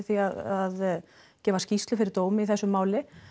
því að gefa skýrslu fyrir dómi í þessu máli